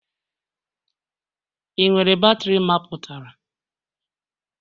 Ị nwere batrị mapụtara?